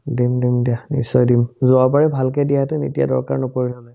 দিম দম দিয়া নিশ্চয় দিম যোৱাবাৰ ভালকে দিয়াহেতেন এতিয়া দৰকাৰ নপৰিল হ'লে